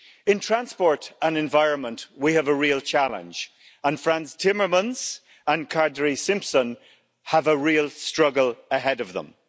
In transport and environment we have a real challenge and Frans Timmermans and Kadri Simson have a real struggle ahead of them.